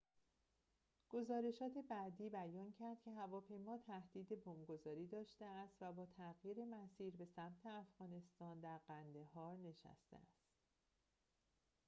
گزارشات بعدی بیان کرد که هواپیما تهدید بمب‌گذاری داشته است و با تغییر مسیر به سمت افغانستان در قندهار نشسته است